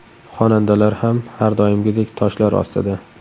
Xonandalar ham har doimgidek toshlar ostida.